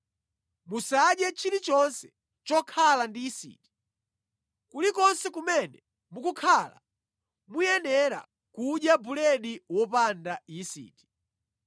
Musadye chilichonse chokhala ndi yisiti. Kulikonse kumene mukukhala, muyenera kudya buledi wopanda yisiti.”